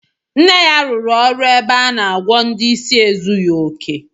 Nne ya rụrụ ọrụ ebe a na-agwọ ndị isi ezughi oke